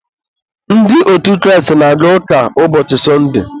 ndị otu Kraịst na-aga ụka ụbọchị sọndee.